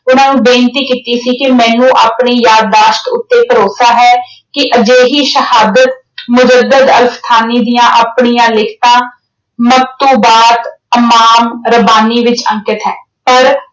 ਉਹਨਾਂ ਨੂੰ ਬੇਨਤੀ ਕੀਤੀ ਸੀ ਕਿ ਮੈਨੂੰ ਆਪਣੀ ਯਾਦਦਾਸ਼ਤ ਉੱਤੇ ਭਰੋਸਾ ਹੈ ਕਿ ਅਜਿਹੀ ਸ਼ਹਾਦਤ ਦੀਆਂ ਆਪਣੀਆਂ ਲਿਖਤਾਂ ਮੱਤੂ ਬਾਤ, ਆਵਾਮ, ਰਬਾਨੀ ਵਿੱਚ ਅੰਕਿਤ ਹੈ ਪਰ